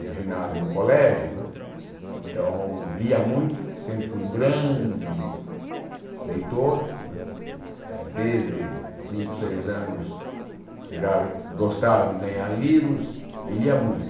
no ginásio e no colégio né, então lia muito, sempre fui um grande leitor, desde cinco, seis anos eu já gostava de ganhar livros e lia muito.